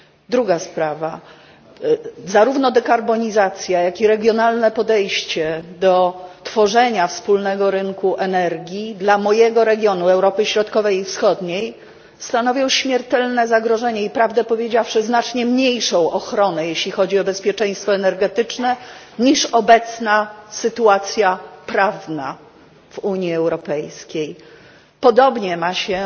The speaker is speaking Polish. Druga sprawa zarówno dekarbonizacja, jak i regionalne podejście do tworzenia wspólnego rynku energii dla mojego regionu Europy Środkowej i Wschodniej stanowią śmiertelne zagrożenie i prawdę powiedziawszy znacznie mniejszą ochronę, jeśli chodzi o bezpieczeństwo energetyczne, niż obecna sytuacja prawna w Unii Europejskiej. Podobnie ma się